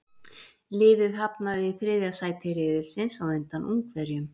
Liðið hafnaði í þriðja sæti riðilsins á undan Ungverjum.